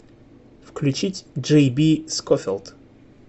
включить джейби скофилд